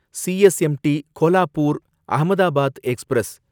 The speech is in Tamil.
CSMT Kolhapur Ahmedabad express